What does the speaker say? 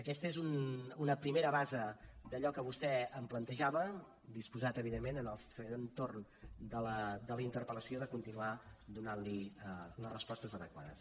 aquesta és una primera base d’allò que vostè em plantejava disposat evidentment en el següent torn de la interpel·lació de continuar donant li les respostes adequades